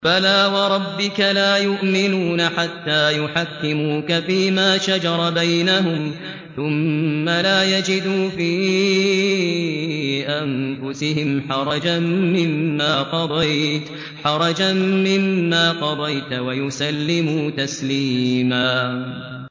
فَلَا وَرَبِّكَ لَا يُؤْمِنُونَ حَتَّىٰ يُحَكِّمُوكَ فِيمَا شَجَرَ بَيْنَهُمْ ثُمَّ لَا يَجِدُوا فِي أَنفُسِهِمْ حَرَجًا مِّمَّا قَضَيْتَ وَيُسَلِّمُوا تَسْلِيمًا